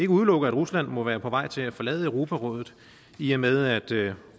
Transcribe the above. udelukke at rusland må være på vej til at forlade europarådet i og med at